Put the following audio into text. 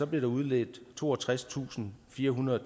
bliver udledt toogtredstusinde og firehundrede